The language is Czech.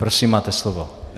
Prosím, máte slovo.